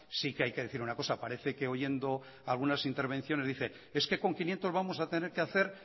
sí que hay que decir una cosa parece que oyendo algunas intervenciones dice es que con quinientos vamos a tener que hacer